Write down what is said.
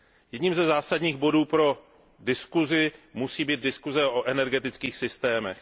Jedním ze zásadních bodů pro diskuzi musí být diskuze o energetických systémech.